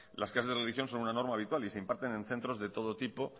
las clases de religión son una norma habitual y se imparten en centros de todo tipo